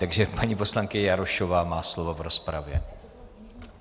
Takže paní poslankyně Jarošová má slovo v rozpravě.